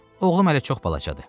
Oğlum hələ çox balacadır.